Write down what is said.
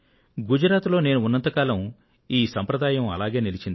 గుజరాత్ లో నేను ఉన్నంత కాలం ఈ సంప్రదాయం అలాగే నిలిచింది